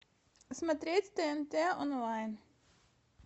смотреть тнт онлайн